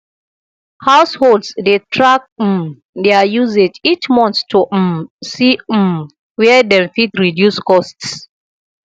households dey track um their usage each month to um see um where dem fit reduce costs